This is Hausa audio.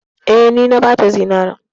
Eh, ni na bata zinarin.